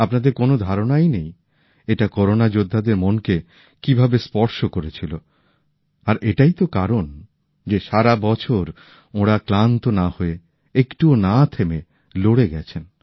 আপনাদের কোনো ধারনাই নেই এটা করোনা যোদ্ধাদের মনকে কিভাবে স্পর্শ করেছিল আর এটাই তো কারণ যে সারা বছর ওঁরা ক্লান্ত না হয়ে একটুও না থেমে লড়ে গেছেন